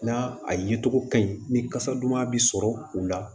Na a ye cogo ka ɲi ni kasa duman bɛ sɔrɔ u la